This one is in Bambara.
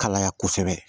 Kalaya kosɛbɛ